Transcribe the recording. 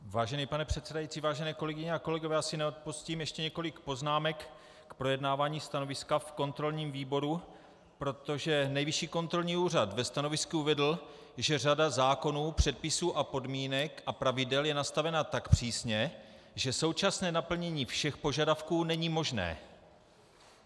Vážený pane předsedající, vážené kolegyně a kolegové, já si neodpustím ještě několik poznámek k projednávání stanoviska v kontrolním výboru, protože Nejvyšší kontrolní úřad ve stanovisku uvedl, že řada zákonů, předpisů a podmínek a pravidel je nastavena tak přísně, že současné naplnění všech požadavků není možné.